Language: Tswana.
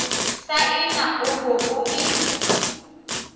saene o bo o e